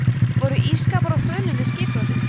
voru ísskápar á þönum við skipbrotið